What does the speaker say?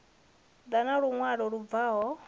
ḓa na luṅwalo lu bvaho